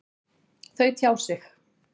Þau tjá sig.